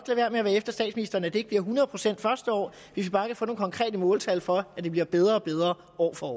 være med at være efter statsministeren selv om det ikke bliver hundrede procent det første år hvis vi bare kan få nogle konkrete måltal for at det bliver bedre og bedre år for